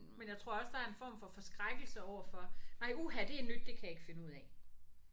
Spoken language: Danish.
Men jeg tror også der er en form for forskrækkelse overfor nej uha det er nyt det kan jeg ikke finde ud af